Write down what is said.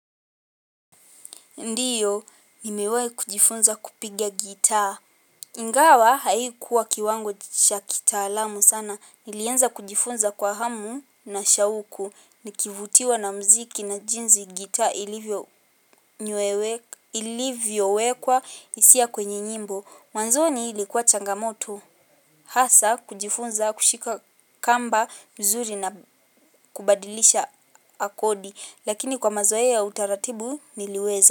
Ndiyo, nimewahi kujifunza kupiga gitaa. Ingawa haikuwa kiwango cha kitaalamu sana. Nilianza kujifunza kwa hamu na shauku. Nikivutiwa na muziki na jinzi gitaa ilivyowekwa hisia kwenye nyimbo. Mwanzoni ilikuwa changamoto. Hasa kujifunza kushika kamba vizuri na kubadilisha akodi. Lakini kwa mazoea utaratibu niliweza.